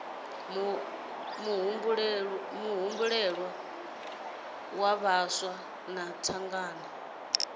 muhumbuloni dza vhaswa na thangana